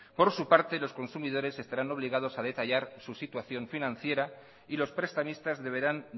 por su parte los consumidores estarán obligados a detallar su situación financiera y los prestamistas deberán